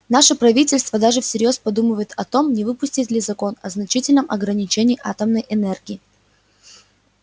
наше правительство даже всерьёз подумывает о том не выпустить ли закон о значительном ограничении атомной энергии